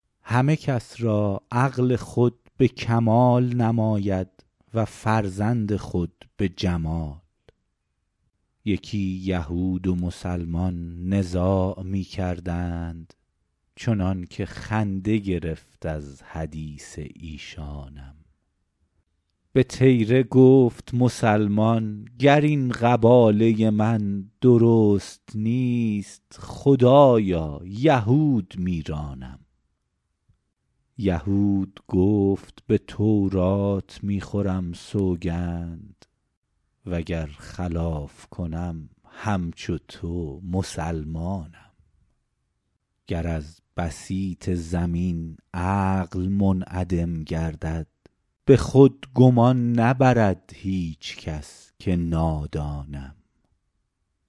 همه کس را عقل خود به کمال نماید و فرزند خود به جمال یکی یهود و مسلمان نزاع می کردند چنان که خنده گرفت از حدیث ایشانم به طیره گفت مسلمان گر این قباله من درست نیست خدایا یهود میرانم یهود گفت به تورات می خورم سوگند وگر خلاف کنم همچو تو مسلمانم گر از بسیط زمین عقل منعدم گردد به خود گمان نبرد هیچ کس که نادانم